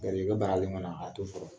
Garisigɛ baaralen kɔni a t'o fɔ